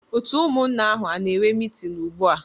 Otu umunna ahu ana-enwe meeting ugua?